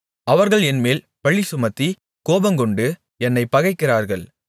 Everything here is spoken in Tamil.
அவர்கள் என்மேல் பழிசுமத்தி கோபங்கொண்டு என்னைப் பகைக்கிறார்கள்